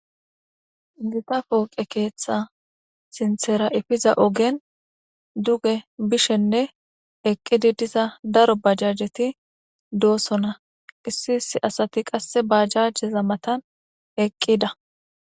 Gita pooqe keeththa sinthera ifiza ogen duge bishenne eqqidi diza daro bajajeti doossona issi issi asati qasse bajajeza matan eqqida.